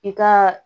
I ka